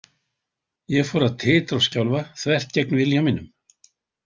Ég fór að titra og skjálfa, þvert gegn vilja mínum.